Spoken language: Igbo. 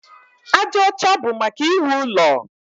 Aja ọcha bụ maka iwu ụlọ.